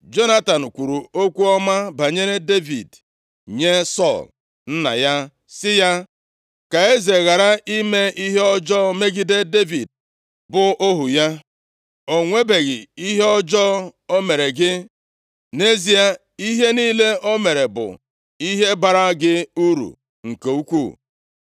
Jonatan kwuru okwu ọma banyere Devid nye Sọl nna ya sị ya, “Ka eze ghara ime ihe ọjọọ megide Devid bụ ohu ya. O nwebeghị ihe ọjọọ o mere gị. Nʼezie, ihe niile o mere bụ ihe baara gị uru nke ukwuu.